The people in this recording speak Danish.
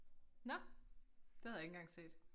Nåh det havde jeg ikke engang set